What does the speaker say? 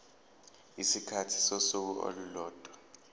isikhathi sosuku olulodwa